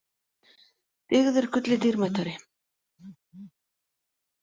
Dyggð er gulli dýrmætari.